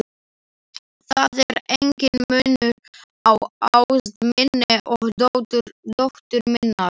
Það er enginn munur á ást minni og dóttur minnar.